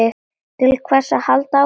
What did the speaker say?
Til hvers að halda áfram?